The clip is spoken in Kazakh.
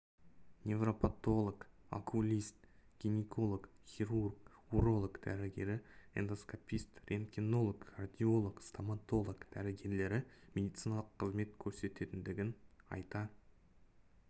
неврапотолог окулист гинеколог хирург уролог дәрігері эндоскопист рентгенолог кардиолог стоматолог дәрігерлері медициналық қызмет көрсететіндігін айта